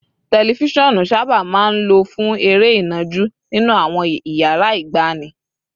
Tẹlifíṣọ̀n sábà máa ń lò fún eré ìnàjú nínú àwọn iyàrá ìgbàanì